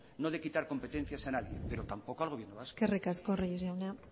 no de quitar competencias a nadie pero tampoco al gobierno vasco eskerrik asko reyes jauna